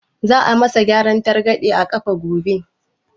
Za a yi ma sa gyaran targaɗe a ƙafa gobe?